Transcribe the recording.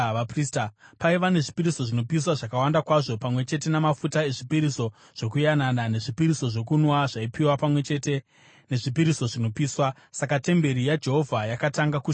Paiva nezvipiriso zvinopiswa zvakawanda kwazvo, pamwe chete namafuta ezvipiriso zvokuyanana, nezvipiriso zvokunwa zvaipiwa pamwe chete nezvipiriso zvinopiswa. Saka temberi yaJehovha yakatanga kushanda zvakare.